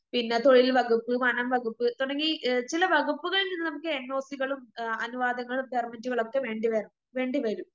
പിന്നെ തൊഴിൽ വകുപ്പ്, വനം വകുപ്പ് തുടങ്ങി ചില വകുപ്പുകളിൽനിന്ന് നമുക്ക് എന്നോസികളും ആ അനുവാദങ്ങളും പെർമിറ്റുകളൊക്കെ വേണ്ടിവര വേണ്ടിവരും.